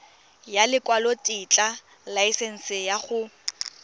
ya lekwalotetla laesense ya go